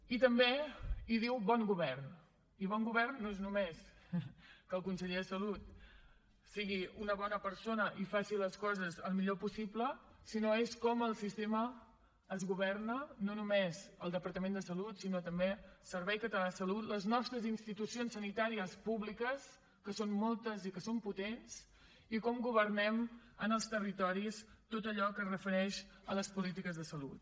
i també hi diu bon govern i bon govern no és només que el conseller de salut sigui una bona persona i faci les coses al millor possible sinó que és com el sistema es governa no només el departament de salut sinó també el servei català de salut les nostres institucions sanitàries públiques que són moltes i que són potents i com governem en els territoris tot allò que es refereix a les polítiques de salut